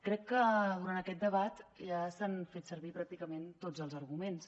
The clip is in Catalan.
crec que durant aquest debat ja s’han fet servir pràcticament tots els arguments